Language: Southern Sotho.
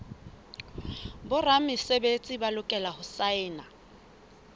boramesebetsi ba lokela ho saena